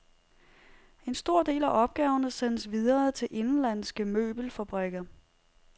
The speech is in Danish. En stor del af opgaverne sendes videre til indenlandske møbelfabrikker.